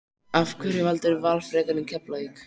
Af hverju valdirðu Val frekar en Keflavík?